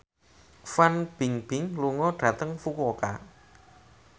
Fan Bingbing lunga dhateng Fukuoka